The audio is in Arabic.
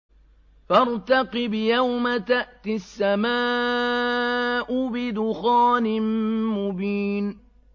فَارْتَقِبْ يَوْمَ تَأْتِي السَّمَاءُ بِدُخَانٍ مُّبِينٍ